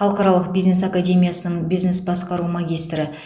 халықаралық бизнес академиясының бизнес басқару магистрі